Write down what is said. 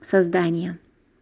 создание